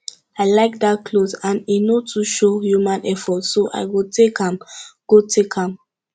i like dat cloth and e no too show human effort so i go take am go take am